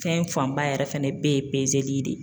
Fɛn fanba yɛrɛ fɛnɛ bɛɛ ye pezeli de